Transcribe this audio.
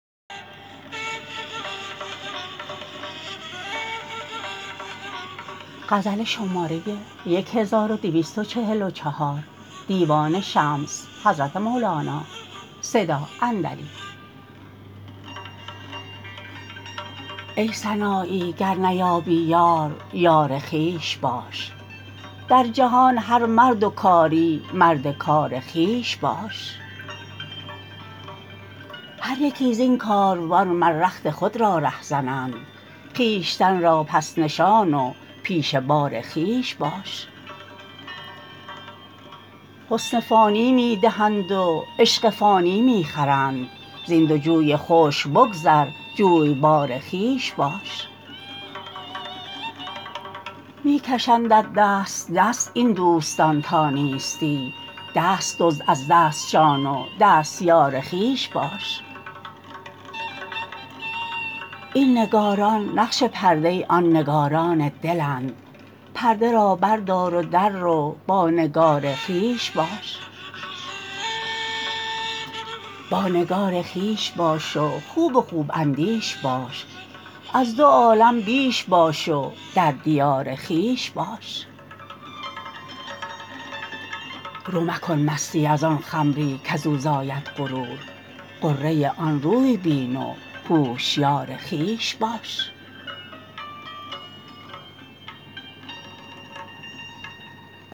ای سنایی گر نیابی یار یار خویش باش در جهان هر مرد و کاری مرد کار خویش باش هر یکی زین کاروان مر رخت خود را رهزنند خویشتن را پس نشان و پیش بار خویش باش حسن فانی می دهند و عشق فانی می خرند زین دو جوی خشک بگذر جویبار خویش باش می کشندت دست دست این دوستان تا نیستی دست دزد از دستشان و دستیار خویش باش این نگاران نقش پرده آن نگاران دلند پرده را بردار و دررو با نگار خویش باش با نگار خویش باش و خوب خوب اندیش باش از دو عالم بیش باش و در دیار خویش باش رو مکن مستی از آن خمری کز او زاید غرور غره آن روی بین و هوشیار خویش باش